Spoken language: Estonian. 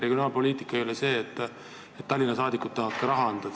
Regionaalpoliitika ei ole see, et Tallinna saadikud tahavad ka raha anda.